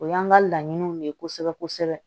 O y'an ka laɲiniw de ye kosɛbɛ kosɛbɛ